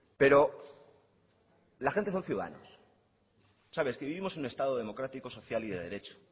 pero la gente son ciudadanos es que vivimos en un estado democrático social y de derecho